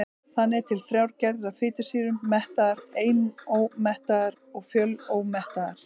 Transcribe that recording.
Þannig eru til þrjár gerðir af fitusýrum: mettaðar, einómettaðar og fjölómettaðar.